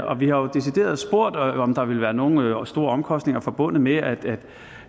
og vi har jo decideret spurgt om der ville være nogle store omkostninger forbundet med